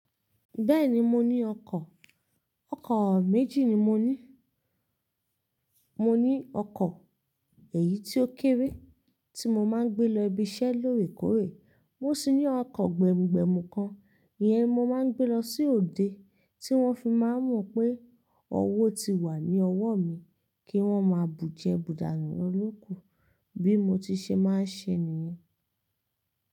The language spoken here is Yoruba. Bẹ́ẹ̀ni mo ní ọkọ̀. Ọkọ̀ méjì ni mo ní. Mo ní ọkọ̀ èyí tó kéré tí mo máa ń gbé lọ ibiṣẹ́ lóòrèkóòrè. Mo sì ní ọkọ̀ gbẹ̀mùgbẹ̀mù kan iyẹn mo máa ń gbé lọ sí òde, tí wọ́n fi máa mọ̀ pé ọwọ́ ti wà ní ọwọ́ mi kí wọ́n máa bùjẹ bùdànù ló loku bí mo ti ṣe máa ń ṣe nìyẹn.